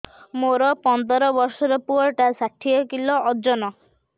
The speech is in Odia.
ମୋର ପନ୍ଦର ଵର୍ଷର ପୁଅ ଟା ଷାଠିଏ କିଲୋ ଅଜନ